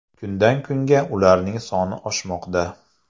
Kundan kunga ularning soni oshmoqda.